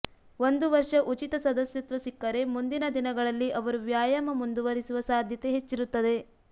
ಒಂದು ವರ್ಷ ಉಚಿತ ಸದಸ್ಯತ್ವ ಸಿಕ್ಕರೆ ಮುಂದಿನ ದಿನಗಳಲ್ಲಿ ಅವರು ವ್ಯಾಯಾಮ ಮುಂದುವರಿಸುವ ಸಾಧ್ಯತೆ ಹೆಚ್ಚಿರುತ್ತದೆ